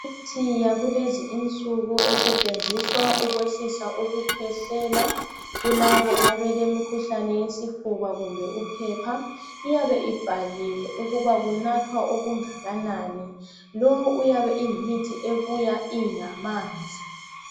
Imithi yakulezi insuku esetshenziswa ukwehlisa ukukhwehlela kulabo abelemkhuhlane yesifuba kumbe uphepha, iyabe ibhaliwe ukuba kunathwa okungakanani. Lo uyabe eyimithi ebuya ingamanzi.